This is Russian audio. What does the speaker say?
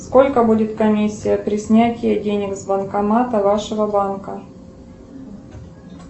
сколько будет комиссия при снятии денег с банкомата вашего банка